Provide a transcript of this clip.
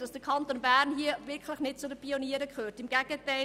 dass der Kanton Bern hier wirklich nicht zu den Pionieren gehört, im Gegenteil: